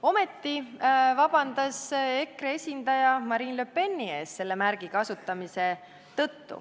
Ometi vabandas EKRE esindaja Marine Le Peni ees selle märgi kasutamise pärast.